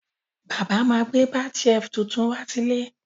Bàbá má gbẹ́ bath shelf tuntun wá sílé